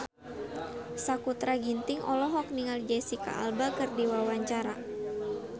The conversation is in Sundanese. Sakutra Ginting olohok ningali Jesicca Alba keur diwawancara